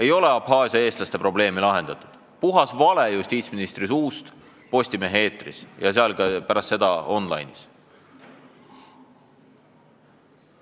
Ei ole Abhaasia eestlaste probleemi lahendatud – puhas vale justiitsministri suust Postimehe eetris ja pärast seda ka on-line'is.